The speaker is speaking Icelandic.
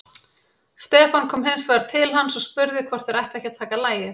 Stefán kom hins vegar til hans og spurði hvort þeir ættu ekki að taka lagið.